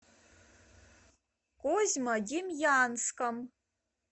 козьмодемьянском